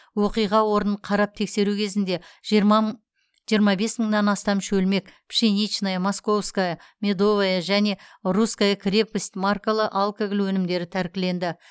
оқиға орнын қарап тексеру кезінде жиырма бес мыңнан астам шөлмек пшеничная московская медовая және русская крепость маркалы алкоголь өнімдері тәркіленді